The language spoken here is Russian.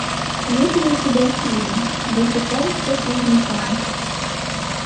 есть ли у тебя фильм босиком по слизнякам